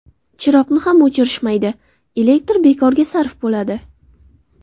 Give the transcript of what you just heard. Chiroqni ham o‘chirishmaydi, elektr bekorga sarf bo‘ladi.